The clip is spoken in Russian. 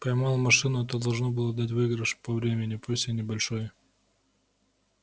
поймал машину это должно было дать выигрыш по времени пусть и небольшой